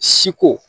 Si ko